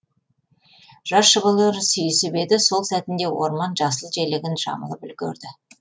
жас жұбайлар сүйісіп еді сол сәтінде орман жасыл желегін жамылып үлгерді